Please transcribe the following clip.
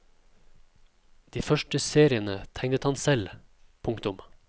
De første seriene tegnet han selv. punktum